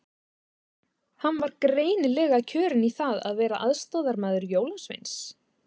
Hann var greinilega kjörinn í það að vera aðstoðarmaður jólasveins.